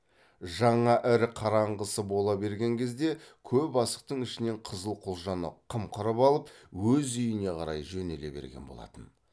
жаңа ірі қараңғысы бола берген кезде көп асықтың ішінен қызыл құлжаны қымқырып алып өз үйіне қарай жөнеле берген болатын